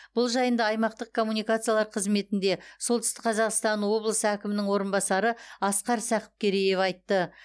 бұл жайында аймақтық коммуникациялар қызметінде солтүстік қазақстан облысы әкімінің орынбасары асқар сақыпкереев айтты